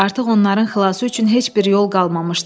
Artıq onların xilası üçün heç bir yol qalmamışdı.